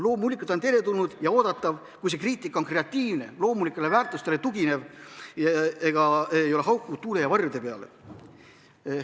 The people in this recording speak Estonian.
Loomulikult on teretulnud ja oodatav, kui see kriitika on kreatiivne, tugineb loomulikele väärtustele ega haugu tuule ja varjude peale.